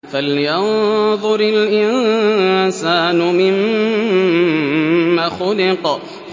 فَلْيَنظُرِ الْإِنسَانُ مِمَّ خُلِقَ